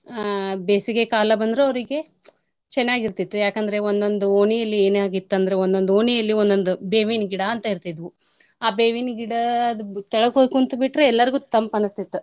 ಅ ಬೇಸಿಗೆ ಕಾಲ ಬಂದ್ರ ಅವ್ರ್ಗೆ ಪ್ಚ್ ಚನಾಗಿರ್ತೀತು ಯಾಕಂದ್ರೆ ಒಂದೊಂದು ಓಣಿಲಿ ಎನಾಗಿತ್ತ್ ಅಂದ್ರ ಒಂದೊಂದು ಓಣಿಲಿ ಒಂದೊಂದ್ ಬೇವಿನ್ ಗಿಡಾ ಅಂತ ಇರ್ತಿದ್ವು, ಆ ಬೇವಿನ್ ಗಿಡದ್ ಬು~ ಕೆಳ್ಗ ಹೋಗ್ ಕುಂತ್ಬಿಟ್ರೆ ಎಲ್ಲಾರ್ಗೂ ತಂಪ್ ಅನ್ನಸ್ತಿತ್ತು.